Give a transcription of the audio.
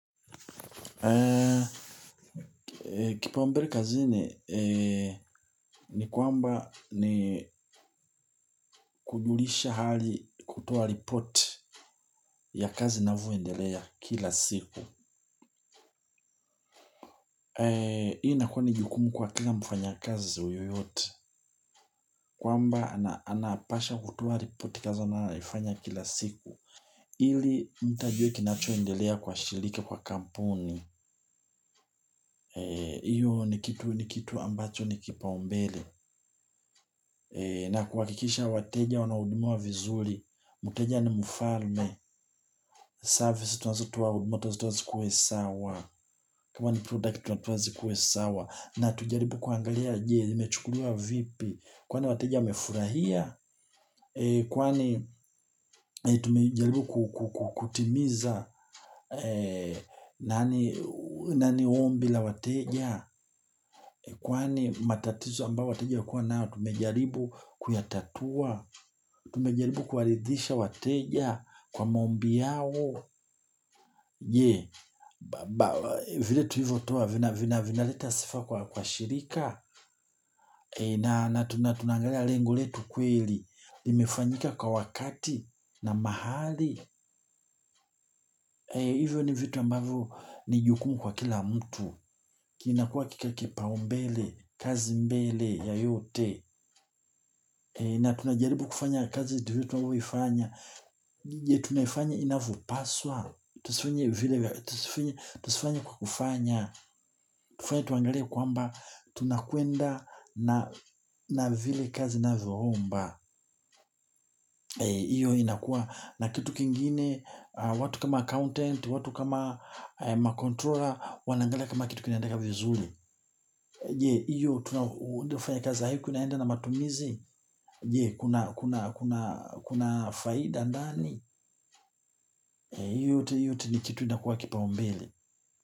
Kipaombele kazini ni kwamba ni kujulisha hali kutoa report ya kazi inavyondelea kila siku. Hii inakuwa ni jukumu kwa kila mfanya kazi yeyote. Kwamba anapaswa kutoa report kazi anayoifanya kila siku ili mtu ajue kinachoendelea kwa shirika kwa kampuni. Iyo ni kitu ambacho ni kipaombele. Na kuhakikisha wateja wanahudumiwa vizuri. Mteja ni mfalme. Service tunazotoa huduma lazima zikuwe sawa. Kama ni product tunazikuwe sawa. Na tujaribu kuangalia je imechukuliwa vipi? Kwani wateja wamefurahia? Kwani tumejaribu kutimiza na ni ombi la wateja. Kwani matatizo ambayo wateja walikua nayo tumejaribu kuyatatua. Tumejaribu kuridhisha wateja kwa maombi yao. Vile tulivyotoa vinaleta sifa kwa shirika. Na tunaangalia lengu letu kweli. Iimefanyika kwa wakati na mahali. Hivyo ni vitu ambavyo ni jukumu kwa kila mtu. Kinakuwa kipao mbele, kazi mbele ya yote. Na tunajaribu kufanya kazi vile tunavyoifanya. Tunaifanya inavyopaswa? Tusifanya kwa kufanya tufanya tuangalie kwamba tunakwenda na vile kazi inavyoomba hiyo inakuwa na kitu kingine. Watu kama accountant, watu kama ma controller wanaangalia kama kitu kinaendanga vizuri. Je hiyo tunavyofanya kazi hii kunaenda na matumizi. Kuna faida ndani? Hiyo yote ni kitu itakuwa kipaumbele.